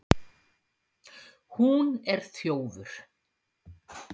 Hún er þjófur